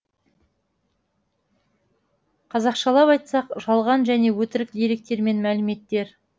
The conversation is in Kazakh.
қазақшалап айтсақ жалған және өтірік деректер мен мәліметтер